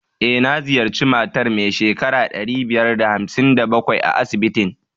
E, na ziyarci matar mai shekara ɗari biyar da hamsin da bakwai a asibitin.